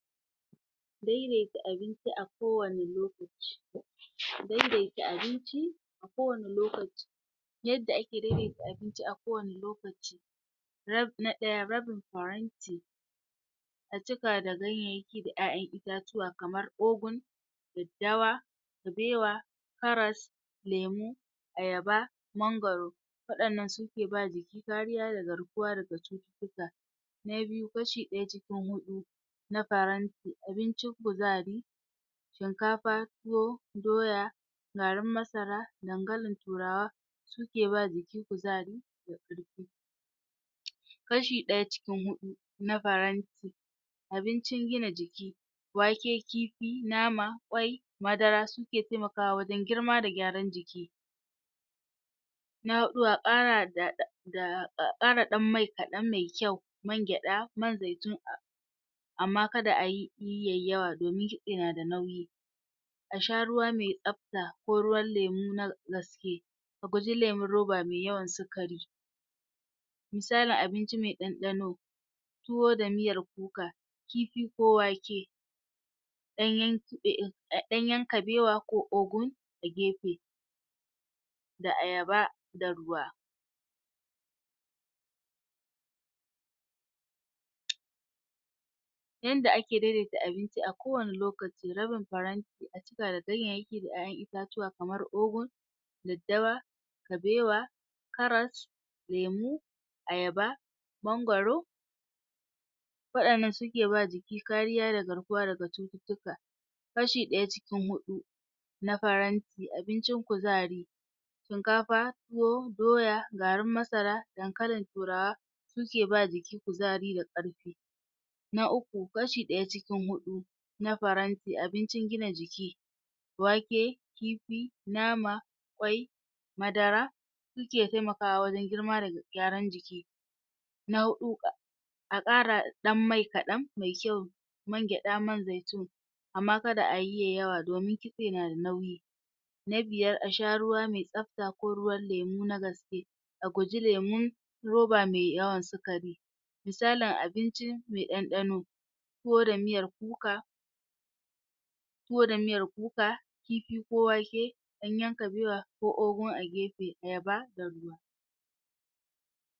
daidaita abinci a kowane lokaci daidaita abinci a kowane lokaci yadda ake daidaita abinci a kowane rab na ɗaya rabin faran a cika da ganyayyaki da ƴaƴan itatuwa kamar ogun daddawa kabewa karas lemu ayaba mangwaro waɗannan suke ba jiki kariya da garkuwa daga cututtuka ha biyu kashi ɗaya cikin huɗu shinkafa tuwo doya garin masara dankalin turawa suke ba jiki kuzari kashi ɗaya cikin huɗu na faranti abincin gina jiki wake kifi nama kwai madara suke taimakawa wajen girma da gyaran jiki na huɗu a kara da a kara ɗan mai kaɗan mai kyau man gyaɗa man zaitun amma kada ayi yayi yawa domin yana da nauyi a sha ruwa mai tsafta ko ruwan lemu na gaske a guji lemun roba mai yawan sikari. misalin abinci mai ɗanɗano tuwo da miyar kuka kifi ko wake ɗanyan kabewa ko ogun a gefe da ayaba da ruwa yanda ake daidaita abinci a kowane lokaci rabin faranti a cika da ganyayyaki da ƴaƴan itatuwa kamar ogun daddawa kabewa karas lemu ayaba mangwaro waɗannan suke ba jiki kariya da garkuwa da cututtuka kashi ɗaya cikin huɗu na faranti abincin kuzari shinkafa tuwo doya garin masara dankalin turawa suke ba jiki kuzari da ƙarfi na uku kashi ɗaya cikin huɗu na faranti abincin gina jiki wake kifi nama kwai madara suke taimakawa wajen girma da gyaran jiki na huɗu aka kara ɗan mai kaɗan mai kyau man gyaɗa man zaitun amma kada ayi yayi yawa domin kitse nada nauyi na biyar asha ruwa mai tsafta ko ruwan lemu na gaske a guji lemun roba mai yawan sikari isalin abincin mai ɗanɗano tuwo da miyar kuka tuwo da miyar kuka kifi ko wake ganyan kabewa ko ogun agefe ɗaya ba da.